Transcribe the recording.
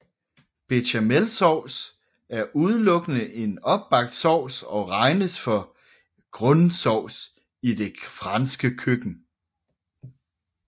Bechamelsauce er udelukkende en opbagt sovs og regnes for en grundsauce i det franske køkken